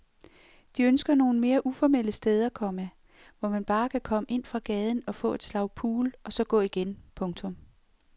De ønsker nogle mere uformelle steder, komma hvor man bare kan komme ind fra gaden og få et slag pool og så gå igen. punktum